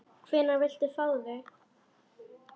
Hvenær viltu fá þau?